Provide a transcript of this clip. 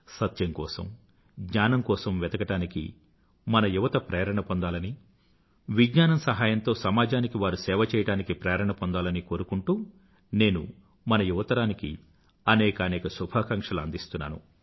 సత్యం కోసం జ్ఞానం కోసం వెతకడానికి మన యువత ప్రేరణపొందాలని విజ్ఞానం సహాయంతో సమాజానికి వారు సేవ చెయ్యాడానికి ప్రేరణ పొందాలని కోరుకుంటూ నేను మన యువతరానికి అనేకానేక శుభాకాంక్షలు అందిస్తున్నాను